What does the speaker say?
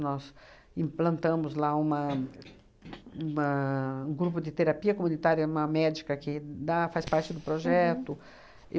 Nós implantamos lá uma uma um grupo de terapia comunitária, uma médica que da faz parte do projeto.